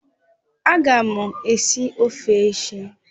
Aga m esi ofe echi